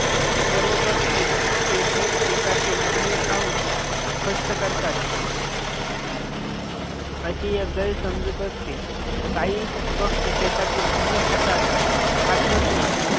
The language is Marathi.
सर्व पक्षी शेती शेतातील धान्य खाऊन फस्त करता. अशी एक गैरसमजुत असते काही पक्षी शेतातील धान्य खातात खात नसून